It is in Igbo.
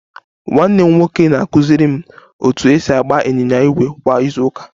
Nwanne m nwoke na-akụziri m otu esi agba ịnyịnya ígwè kwa izu ụka